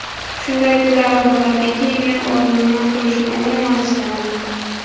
Shunday kunlarim bo‘ladiki, men o‘rnimdan turishni umuman istamayman.